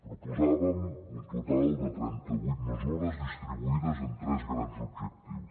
proposàvem un total de trenta vuit mesures distribuïdes en tres grans objectius